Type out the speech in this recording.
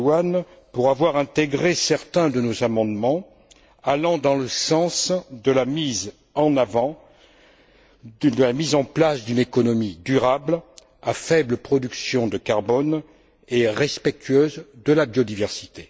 Luhan pour avoir intégré certains de nos amendements allant dans le sens de la mise en place d'une économie durable à faible production de carbone et respectueuse de la biodiversité.